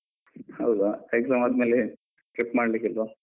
ಹೌದಾ? exam ಆದ್ಮೇಲೆ trip ಮಾಡ್ಲಿಕ್ಕಿಲ್ವಾ?